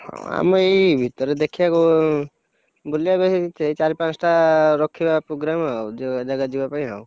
ଆମେ ଏଇ ଭିତରେ ଦେଖିଆ କୋଉ, ବୁଲିଆକୁ ସେଇ ସେଇ ଚାରି ପାଞ୍ଚଟା ରଖିବା program ଆଉ ଯା ଜାଗା ଯିବା ପାଇଁ ଆଉ।